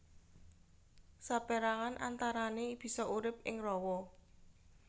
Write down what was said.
Sapérangan antarané bisa urip ing rawa